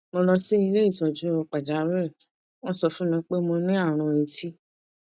mo lọ sí ilé ìtọjú pàjáwìrì wọn sọ fún mi pé mo ní àrùn etí